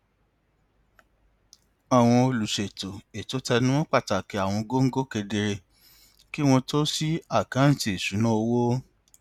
olùṣètò ètò tẹnu mọ pàtàkì àwọn góńgó kedere kí wọn tó ṣí àkáǹtì ìṣúnná owó